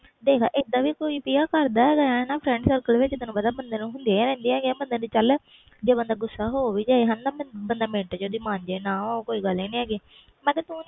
ਦੇਖ ਪ੍ਰਿਆ ਇਹਦਾ ਕੋਈ ਕਰਦਾ ਹੈ ਗਏ ਆ ਵਿਚ ਤੈਨੂੰ ਪਤਾ ਬੰਦੇ ਨਾਲ friend circle ਹੁੰਦੀਆਂ ਰਹਿਦੀਆ ਚਲ ਜੇ ਬੰਦਾ ਗੁੱਸਾ ਹੋ ਵੀ ਜਾਏ ਬੰਦੇ ਮਿੰਟ ਵਿਚ ਦੀ ਮਨ ਜੇ ਉਹ ਕੋਈ ਗੱਲ ਹੀ ਨਹੀਂ ਹੈ ਗਈ